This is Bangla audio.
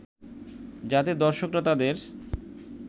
যাতে দর্শকরা তাদের